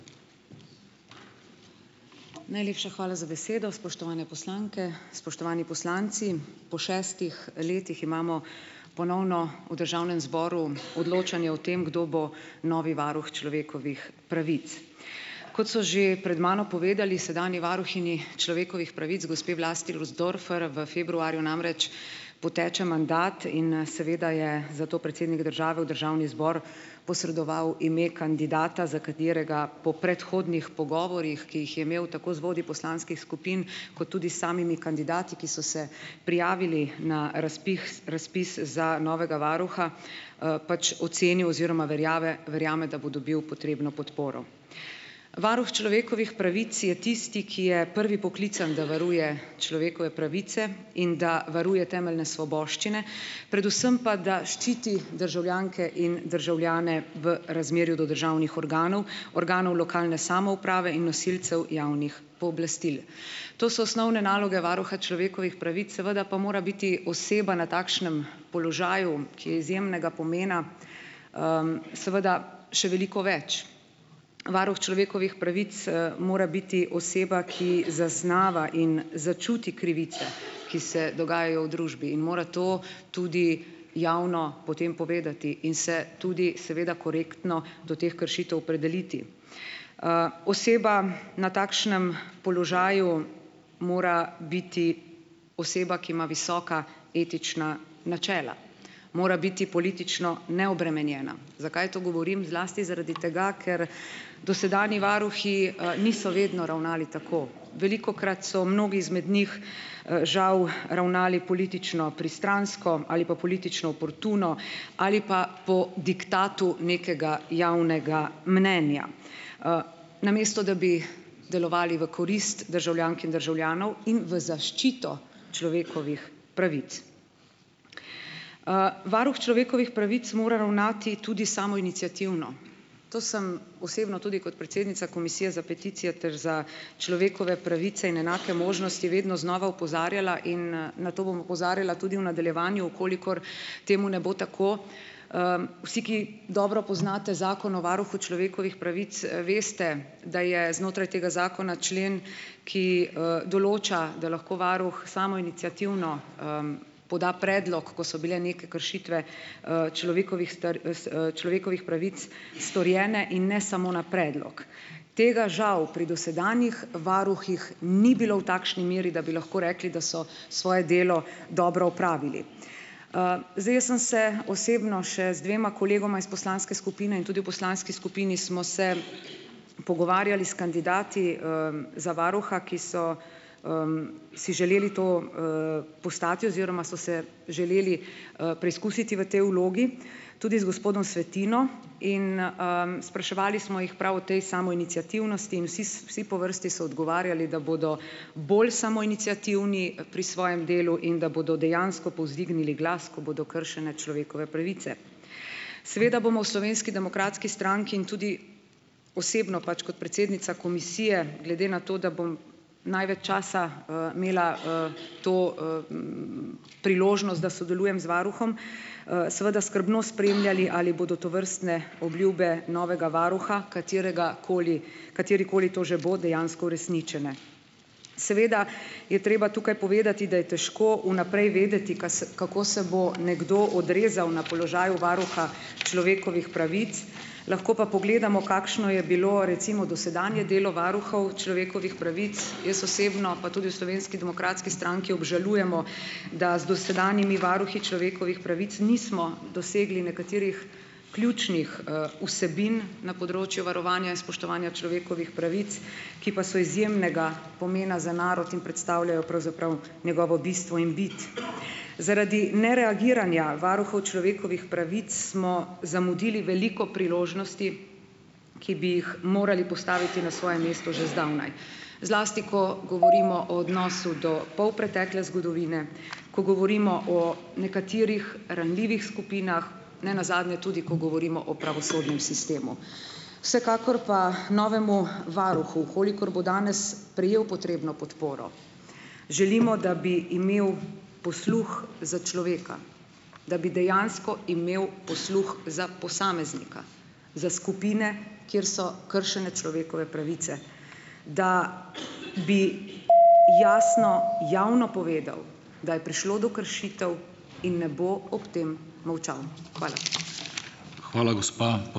Najlepša hvala za besedo. Spoštovane poslanke, spoštovani poslanci! Po šestih letih imamo ponovno v državnem zboru odločanje o tem, kdo bo novi varuh človekovih pravic. Kot so že pred mano povedali, sedanji varuhinji človekovih pravic, gospe Vlasti Nussdorfer, v februarju namreč poteče mandat in, seveda je zato predsednik države v državni zbor posredoval ime kandidata, za katerega po predhodnih pogovorih, ki jih je imel tako z vodji poslanskih skupin kot tudi s samimi kandidati, ki so se prijavili na razpis razpis za novega varuha, pač, ocenil oziroma verjave verjame, da bo dobil potrebno podporo. Varuh človekovih pravic je tisti, ki je prvi poklican, da varuje človekove pravice in da varuje temeljne svoboščine, predvsem pa da ščiti državljanke in državljane v razmerju do državnih organov, organov lokalne samouprave in nosilcev javnih pooblastil. To so osnovne naloge varuha človekovih pravic, seveda pa mora biti oseba na takšnem položaju, ki je izjemnega pomena, seveda še veliko več. Varuh človekovih pravic, mora biti oseba, ki zaznava in začuti krivice, ki se dogajajo v družbi in mora to tudi javno potem povedati in se tudi seveda korektno do teh kršitev opredeliti. Oseba na takšnem položaju mora biti oseba, ki ima visoka etična načela. Mora biti politično neobremenjena. Zakaj to govorim? Zlasti zaradi tega, ker dosedanji varuhi, niso vedno ravnali tako. Velikokrat so mnogi izmed njih, žal, ravnali politično pristransko ali pa politično oportuno ali pa po diktatu nekega javnega mnenja. Namesto da bi delovali v korist državljank in državljanov in v zaščito človekovih pravic. Varuh človekovih pravic mora ravnati tudi samoiniciativno. To sem osebno tudi kot predsednica Komisije za peticije ter za človekove pravice in enake možnosti vedno znova opozarjala in, na to bom opozarjala tudi v nadaljevanju, v kolikor temu ne bo tako. vsi, ki dobro poznate zakon o varuhu človekovih pravic, veste, da je znotraj tega zakona člen, ki, določa, da lahko varuh samoiniciativno, poda predlog, ko so bile neke kršitve, človekovih človekovih pravic storjene in ne samo na predlog. Tega žal pri dosedanjih varuhih ni bilo v takšni meri, da bi lahko rekli, da so svoje delo dobro opravili. Zdaj, jaz sem se osebno še z dvema kolegoma iz poslanske skupine in tudi v poslanski skupini smo se pogovarjali s kandidati, za varuha, ki so, si želeli to, postati oziroma so se želeli, preizkusiti v tej vlogi, tudi z gospodom Svetino in, spraševali smo jih prav o tej samoiniciativnosti in vsi vsi po vrsti so odgovarjali, da bodo bolj samoiniciativni pri svojem delu, in da bodo dejansko povzdignili glas, ko bodo kršene človekove pravice. Seveda bomo v Slovenski demokratski stranki in tudi osebno pač kot predsednica komisije glede na to, da bom največ časa, imela, to, priložnost, da sodelujem z varuhom, seveda skrbno spremljali ali bodo tovrstne obljube novega varuha, kateregakoli katerekoli to že bo, dejansko uresničene. Seveda je treba tukaj povedati, da je težko v naprej vedeti, kase kako se bo nekdo odrezal na položaju varuha človekovih pravic, lahko pa pogledamo, kakšne je bilo recimo dosedanje delo varuhov človekovih pravic. Jaz osebno pa tudi v Slovenski demokratski stranki obžalujemo, da z dosedanjimi varuhi človekovih pravic nismo dosegli nekaterih ključnih, vsebin na področju varovanja in spoštovanja človekovih pravic, ki pa so izjemnega pomena za narod in predstavljajo pravzaprav njegovo bistvo in bit. Zaradi nereagiranja varuhov človekovih pravic smo zamudili veliko priložnosti, ki bi jih morali postaviti na svoje mesto že zdavnaj. Zlasti ko govorimo o odnosu do polpretekle zgodovine, ko govorimo o nekaterih ranljivih skupinah, ne nazadnje tudi ko govorimo o pravosodnem sistemu. Vsekakor pa novemu varuhu, v kolikor bo danes prejel potrebno podporo, želimo da bi imel posluh za človeka, da bi dejansko imel posluh za posameznika, za skupine kjer so kršene človekove pravice, da bi jasno javno povedal, da je prišlo do kršitev in ne bo ob tem molčal. Hvala.